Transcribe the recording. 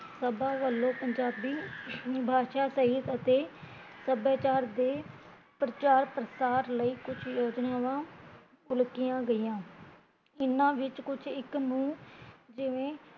ਸਬਾ ਵੱਲੋਂ ਪੰਜਾਬੀ ਬਾਸ਼ਾ ਸਾਹਿਤ ਅਤੇ ਸਭਿਆਚਾਰ ਤੇ ਪਰਚਾਰ ਪ੍ਰਸਾਰ ਲਈ ਕੁਜ ਯੋਜਨਾਵਾਂ ਉਲਕੀਆ ਗਈਆ ਇਹਨਾਂ ਵਿੱਚ ਕੁਛ ਇੱਕ ਨੂ ਜਿਵੇ